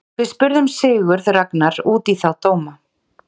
Við spurðum Sigurð Ragnar út í þá dóma.